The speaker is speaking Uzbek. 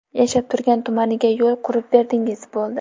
Yashab turgan tumaniga yo‘l qurib berdingiz, bo‘ldi.